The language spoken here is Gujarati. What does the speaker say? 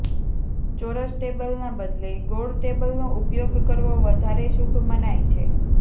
ચોરસ ટેબલના બદલે ગોળ ટેબલનો ઉપયોગ કરવો વધારે શુભ મનાય છે